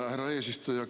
Härra eesistuja!